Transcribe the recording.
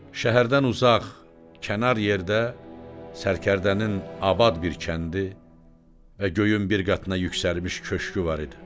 Şəhərdən uzaq, kənar yerdə sərkərdənin abad bir kəndi və göyün bir qatına yüksəlmiş köşkü var idi.